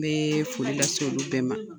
N bɛ foli lase olu bɛɛ ma.